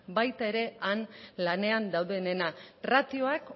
baita ere han lanean daudenena ratioak